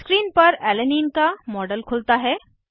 screen पर alanine का model खुलता है